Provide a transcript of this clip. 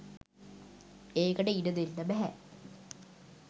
ඒකට ඉඩදෙන්න බැහැ.